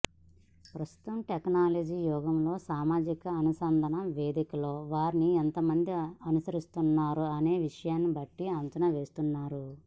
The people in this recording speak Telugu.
ప్రస్తుత టెక్నాలజీ యుగంలో సామాజిక అనుసంధాన వేదికలలో వారిని ఎంతమంది అనుసరిస్తున్నారు అనే విషయాన్ని బట్టి అంచనా వేస్తున్నారు